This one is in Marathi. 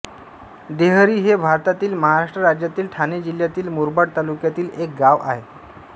देहरी हे भारतातील महाराष्ट्र राज्यातील ठाणे जिल्ह्यातील मुरबाड तालुक्यातील एक गाव आहे